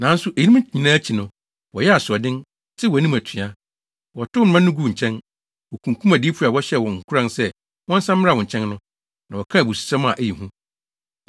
“Nanso eyinom nyinaa akyi no, wɔyɛɛ asoɔden, tew wʼanim atua. Wɔtow wo mmara no guu nkyɛn. Wokunkum adiyifo a wɔhyɛɛ wɔn nkuran sɛ wɔnsan mmra wo nkyɛn no, na wɔkaa abususɛm a ɛyɛ hu.